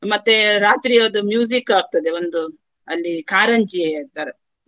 ಮತ್ತೆ ರಾತ್ರಿಯದ್ದು ಆಗ್ತದೆ ಒಂದು ಅಲ್ಲಿ ಕಾರಂಜಿ ತರ.